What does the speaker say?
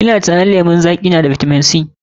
Ina tunanin lemon zaƙi na da bitamin C.